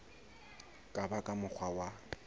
ka ba ka mokgwa wa